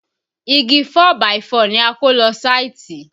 Igi 4 by 4 ni a kó lọ sáìtì